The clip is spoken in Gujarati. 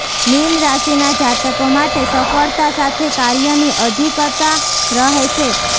મીન રાશિના જાતકો માટે સફળતા સાથે કાર્યની અધિકતા રહેશે